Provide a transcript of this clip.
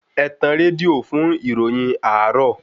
Ẹtàn rédíò fún ìròyìn àárò